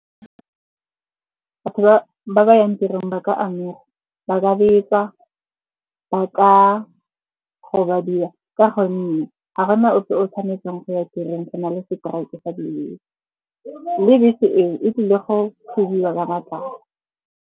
Batho ba ba yang tirong ba ka amega. Ba ka betswa, ba ka gobadiwa ka gonne ga go na ope o tshwanetseng go ya tirong go na le seteraeke sa dibese. Le bese eo e tlile go thubiwa ka matlapa.